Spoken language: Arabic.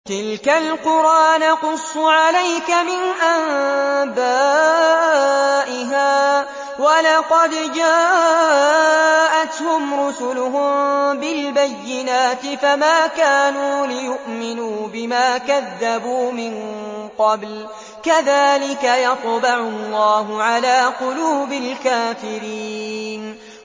تِلْكَ الْقُرَىٰ نَقُصُّ عَلَيْكَ مِنْ أَنبَائِهَا ۚ وَلَقَدْ جَاءَتْهُمْ رُسُلُهُم بِالْبَيِّنَاتِ فَمَا كَانُوا لِيُؤْمِنُوا بِمَا كَذَّبُوا مِن قَبْلُ ۚ كَذَٰلِكَ يَطْبَعُ اللَّهُ عَلَىٰ قُلُوبِ الْكَافِرِينَ